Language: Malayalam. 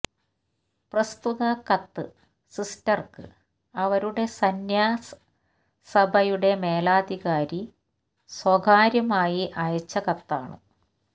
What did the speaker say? പ്രസ്തുത കത്ത് സിസ്റ്റര്ക്ക് അവരുടെ സന്യാസഭയുടെ മേലധികാരി സ്വകാര്യമായി അയച്ച കത്താണ്